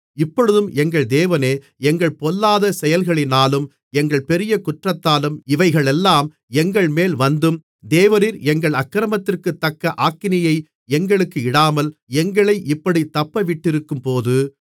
இப்பொழுதும் எங்கள் தேவனே எங்கள் பொல்லாத செயல்களினாலும் எங்கள் பெரிய குற்றத்தாலும் இவைகளெல்லாம் எங்கள்மேல் வந்தும் தேவரீர் எங்கள் அக்கிரமத்திற்குத்தக்க ஆக்கினையை எங்களுக்கு இடாமல் எங்களை இப்படித் தப்பவிட்டிருக்கும்போது